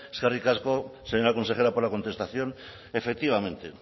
eskerrik asko señora consejera por la contestación efectivamente